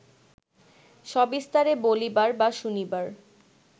সবিস্তারে বলিবার বা শুনিবার